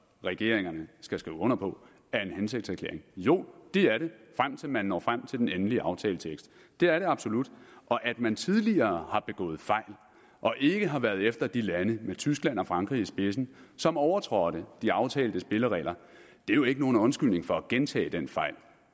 regeringerne skal skrive under på er en hensigtserklæring jo det er det indtil man når frem til den endelige aftaletekst det er det absolut og at man tidligere har begået fejl og ikke har været efter de lande med tyskland og frankrig i spidsen som overtrådte de aftalte spilleregler er jo ikke nogen undskyldning for at gentage de fejl